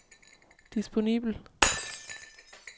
disponibel